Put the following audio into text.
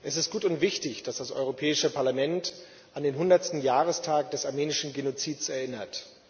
Es ist gut und wichtig, dass das Europäische Parlament an den 100. Jahrestag des armenischen Genozids erinnert.